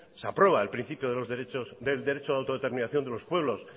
se aprueba el principio del derecho de autodeterminación de los pueblos